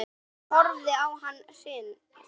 Ég horfði á hann hrynja.